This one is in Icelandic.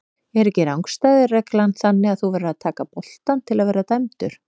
Er ekki rangstæðu reglan þannig að þú verður að taka boltann til að vera dæmdur?